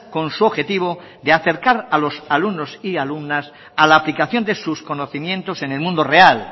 con su objetivo de acercar a los alumnos y alumnas a la aplicación de sus conocimientos en el mundo real